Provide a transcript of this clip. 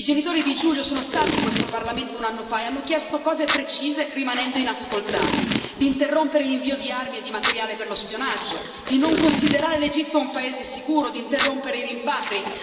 I genitori di Giulio sono stati in questo Parlamento un anno fa e hanno chiesto cose precise, rimanendo inascoltati interrompere l'invio di armi e di materiale per lo spionaggio, non considerare l'Egitto un paese sicuro, interrompere i rimpatri.